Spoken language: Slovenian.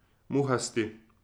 Muhasti.